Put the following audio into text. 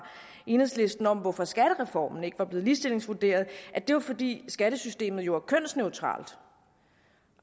enhedslisten om hvorfor skattereformen ikke var blevet ligestillingsvurderet at det var fordi skattesystemet jo er kønsneutralt